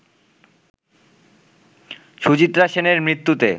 সুচিত্রা সেনের মৃত্যুতে